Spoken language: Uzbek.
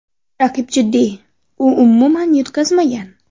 Raqib jiddiy, u umuman yutqazmagan.